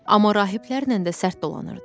Amma rahiblərlə də sərt dolanırdı.